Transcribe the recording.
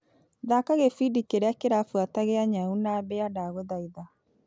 Thaka gĩbindi kĩrĩa kĩrabuata gĩa nyau na mbĩa ndagũthaitha .